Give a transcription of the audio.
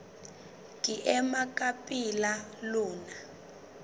ke ema ka pela lona